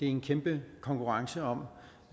en kæmpe konkurrence om